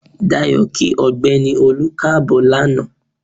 Dayọ̀ kí ọ̀gbẹ́ni Olú Káàbọ̀ lanaa.